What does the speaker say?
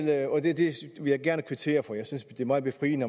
jeg gerne kvittere for jeg synes det er meget befriende